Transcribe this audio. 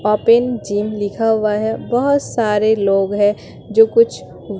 open gym लिखा हुआ है बहोत सारे लोग है जो कुछ--